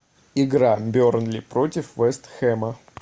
игра бернли против вест хэма